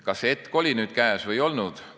Kas see hetk oli käes või ei olnud?